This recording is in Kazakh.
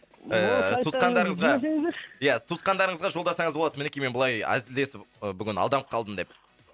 ііі туысқандарыңызға жіберсеңіздерші ия туысқандарыңызға жолдасаңыз болады мінекей мен былай әзілдесіп бүгін алданып қалдым деп